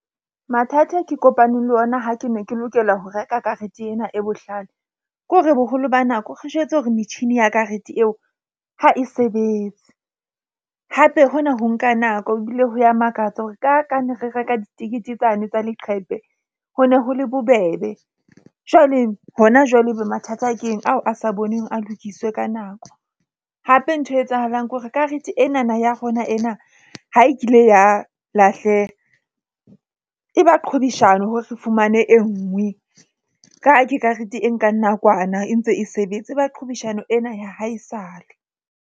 Mathata ke kopaneng le ona ha ke ne ke lokela ho reka karete ena e bohlale. Ke hore boholo ba nako re jwetse hore metjhini ya karete eo ha e sebetse hape hona ho nka nako. Ebile ho ya makatsa hore ka ka ne re reka ditikete tsane tsa leqhepe, ho ne ho le bobebe. Jwale hona jwale e be mathata. Ke eng ao a sa boneng a lokiswe ka nako hape nthwe etsahalang kore karete enana ya rona ena ha e kile ya lahleha, e ba qhwebeshano hore re fumane enngwe ka ke karete e nkang nakwana e ntse e sebetse. E ba qhwebeshano ena ya ha e sale.